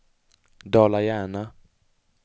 Dala-Järna